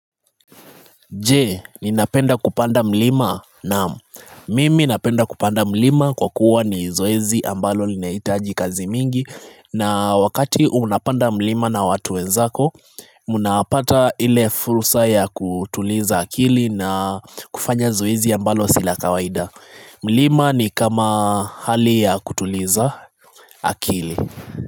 Je, ni napenda kupanda mlima naaam mimi napenda kupanda mlima kwa kuwa ni zoezi ambalo lineahiaji kazi mingi na wakati unapanda mlima na watuwe nzako Munapata ile fursa ya kutuliza akili na kufanya zoezi ambalo sila kawaida mlima ni kama hali ya kutuliza akili.